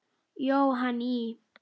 Jóhann í